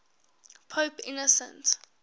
pope innocent